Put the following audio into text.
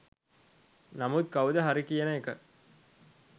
නමුත් කවුද හරි කියන එක